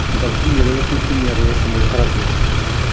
мысалы химияда болсын химияда да сондай қарап жүреді